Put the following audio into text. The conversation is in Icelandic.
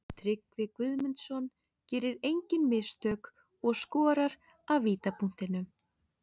Tryggvi Guðmundsson gerir engin mistök og skorar af vítapunktinum.